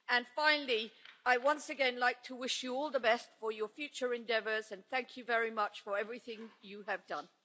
And finally, I would once again like to wish you all the best for your future endeavours, and thank you very much for everything you have done.